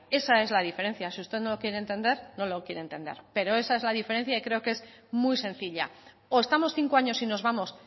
esa es la diferencia si usted no lo quiere entender no lo quiera entender pero esa es la diferencia y creo que es muy sencilla o estamos cinco años y nos vamos